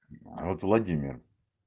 вот владимир